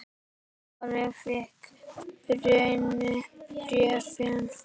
Ari fékk Birni bréfin.